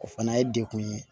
O fana ye dekun ye